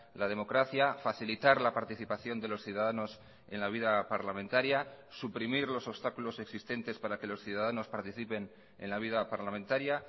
la democracia facilitar la participación de los ciudadanos en la vida parlamentaria suprimir los obstáculos existentes para que los ciudadanos participen en la vida parlamentaria